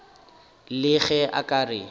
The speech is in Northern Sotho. le ge a ka re